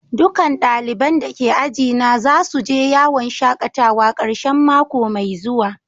Dukan dalibain da ke aji na za su je yawon shakatawa karshen mako mai zuwa.